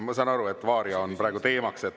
Ma saan aru, et varia on praegu teemaks.